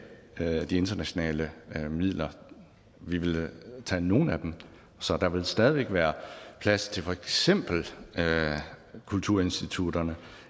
de internationale midler vi vil tage nogle af dem så der vil stadig væk være plads til for eksempel kulturinstitutterne